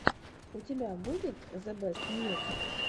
у тебя будет зэбэстньюс